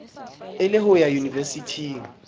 e le ho ya yunivesithing